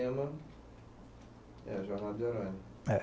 É, Jornada. É